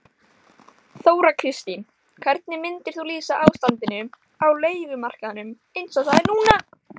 Þóra Kristín: Hvernig myndir þú lýsa ástandinu á leigumarkaðnum eins og það er núna?